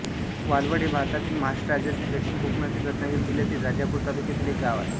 वालवड हे भारतातील महाराष्ट्र राज्यातील दक्षिण कोकणातील रत्नागिरी जिल्ह्यातील राजापूर तालुक्यातील एक गाव आहे